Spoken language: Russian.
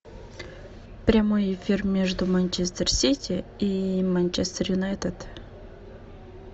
прямой эфир между манчестер сити и манчестер юнайтед